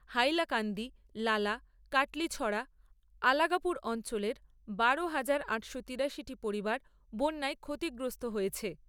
হাইলাকান্দি, লালা, কাটলিছড়া, আলাগাপুর অঞ্চলের বারো হাজার আটশো তিরাশি টি পরিবার বন্যায় ক্ষতিগ্রস্ত হয়েছে।